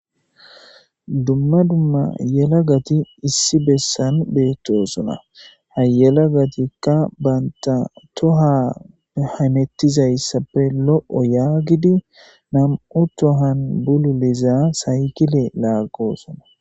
Dumma dumma yelagati issi bessan beettosona hhayelagatika banta toha hamettizayssappe lo7o yaagidi nam7u tohan bululiza saykile laaggosona.